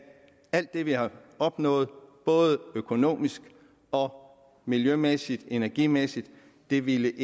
alt det vi har opnået både økonomisk og miljømæssigt energimæssigt ikke ville